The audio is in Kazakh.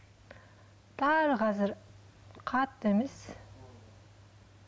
барлығы қазір қатты емес